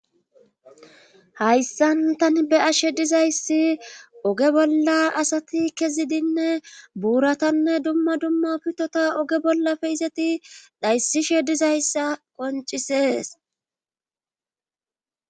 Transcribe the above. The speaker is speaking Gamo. hayssan tani be ashe dizayssi oge bolla asati kezidinne buuratanne dumma dumma pitota oge bollafe izeti dhayssishe dizayssa qoncisees